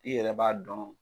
I yɛrɛ b'a dɔn.